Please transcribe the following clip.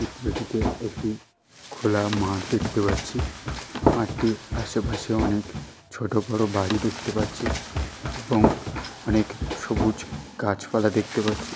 চিত্রটিতে একটি খোলা মাঠ দেখতে পাচ্ছি। মাঠটির আসে পাশে অনেক ছোটো বড়ো বাড়ি দেখতে পাচ্ছি এবং অনেক সবুজ গাছপালা দেখতে পাচ্ছি।